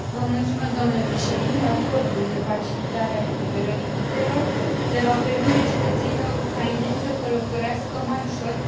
Acordul de facilitare a eliberării vizelor le va permite cetățenilor ucraineni să călătorească mai ușor pe teritoriul Uniunii.